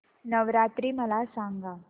नवरात्री मला सांगा